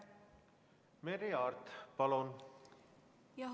Merry Aart, palun!